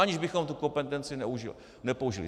Aniž bychom tu kompetenci nepoužili.